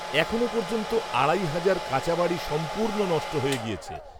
এখনও পর্যন্ত, আড়াই, হাজার কাঁচাবাড়ি, সম্পূ্র্ণ, নষ্ট হয়ে গিয়েছে